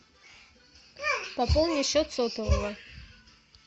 пополни счет сотового